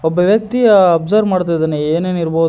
ಒಬ್ಬ ವ್ಯಕ್ತಿ ಅ ಅಬ್ಸರ್ವ್ ಮಾಡುತ್ತಿದ್ದಾನೆ ಏನೇನು ಇರ್ ಬೋದ್--